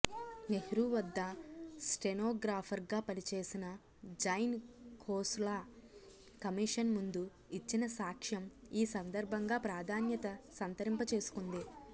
నెహ్రూ వద్ద స్టెనోగ్రాఫర్గా పనిచేసిన జైన్ ఖోస్లా కమీషన్ ముందు ఇచ్చిన సాక్ష్యం ఈ సందర్భంగా ప్రాధాన్యత సంతరింపచేసుకొంది